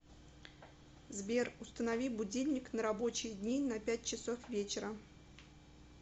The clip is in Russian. сбер установи будильник на рабочие дни на пять часов вечера